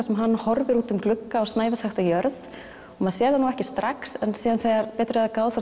sem hann horfir út um glugga á snævi þakta jörð og maður sér það nú ekki strax en síðan þegar betur er að gáð